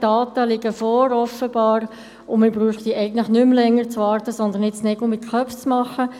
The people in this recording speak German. Die Daten liegen offenbar vor, und wir bräuchten nicht mehr länger zu warten, sondern sollten jetzt Nägel mit Köpfen machen.